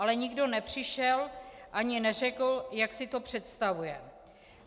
Ale nikdo nepřišel ani neřekl, jak si to představuje.